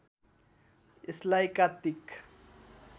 यसलाई कात्तिक